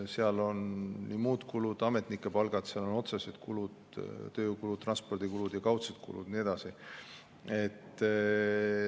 Seal on muud kulud, ametnike palgad, otsesed kulud, tööjõukulud, transpordikulud, kaudsed kulud ja nii edasi.